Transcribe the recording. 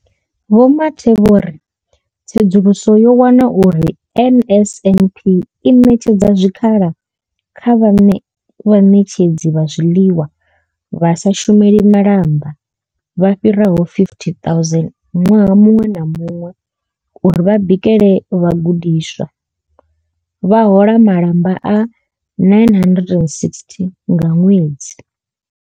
Vho Mathe vho ri tsedzuluso yo wana uri NSNP i ṋetshedza zwikhala kha vhaṋetshedzi vha zwiḽiwa vha sa shumeli malamba vha fhiraho 50 000 ṅwaha muṅwe na muṅwe uri vha bikele vhagudiswa ha hola malamba a R960 nga ṅwedzi.